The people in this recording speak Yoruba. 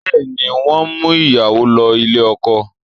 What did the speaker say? Bẹ́ẹ̀ ni, wọ́n ń mú ìyàwó lọ ilé ọkọ